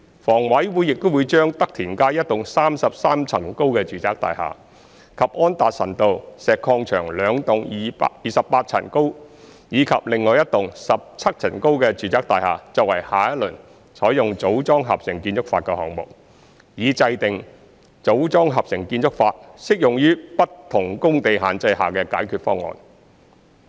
房委會亦會將德田街一幢33層高的住宅大廈，以及安達臣道石礦場兩幢28層高及另外一幢17層高的住宅大廈作為下一輪採用"組裝合成"建築法的項目，以制訂"組裝合成"建築法適用於不同工地限制下的解決方案。